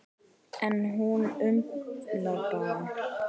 En hún umlar bara.